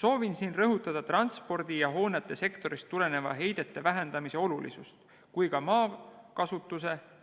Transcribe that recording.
Soovin siin rõhutada transpordi- ja hoonete sektorist tulenevate heidete vähendamise olulisust ja ka